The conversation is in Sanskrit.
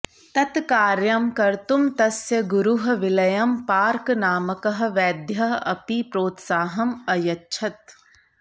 तत् कार्यं कर्तुं तस्य गुरुः विलियं पार्क् नामकः वैद्यः अपि प्रोत्साहम् अयच्छत्